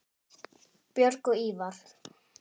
Björg og Ívar.